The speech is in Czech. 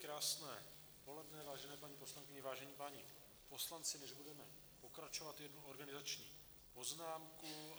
Krásné poledne, vážené paní poslankyně, vážení páni poslanci, než budeme pokračovat, jednu organizační poznámku.